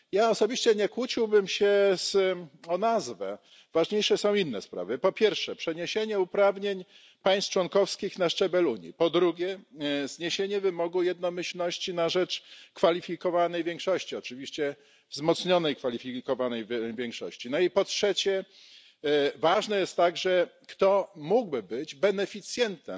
Osobiście nie kłóciłbym się o nazwę, ważniejsze są inne sprawy po pierwsze przeniesienie uprawnień państw członkowskich na szczebel Unii, po drugie zniesienie wymogu jednomyślności na rzecz kwalifikowanej większości, oczywiście wzmocnionej kwalifikowanej większości, po trzecie ważne jest także, kto mógłby być beneficjentem